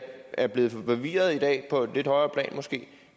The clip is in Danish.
er blevet forvirret i dag på et lidt højere plan måske